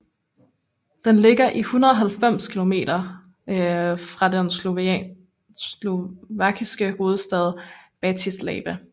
Den ligger 190 kilometer fra den slovakiske hovedstad Bratislava